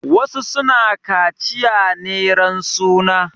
Wasu su na kaciya ne ran suna.